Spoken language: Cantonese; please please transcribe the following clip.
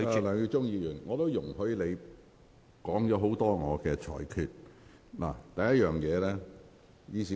梁耀忠議員，我已容許你就我的裁決發言一段時間。